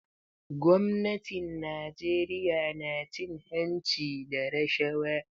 Gwamnatin Najeriya na cin hanci da rashawa.